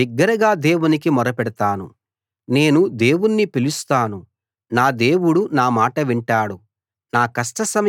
నేను బిగ్గరగా దేవునికి మొరపెడతాను నేను దేవుణ్ణి పిలుస్తాను నా దేవుడు నా మాట వింటాడు